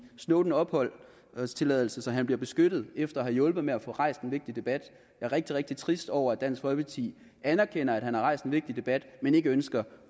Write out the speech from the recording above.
snowden opholdstilladelse så han bliver beskyttet efter at have hjulpet med at få rejst en vigtig debat jeg er rigtig rigtig trist over at dansk folkeparti anerkender at han har rejst en vigtig debat men ikke ønsker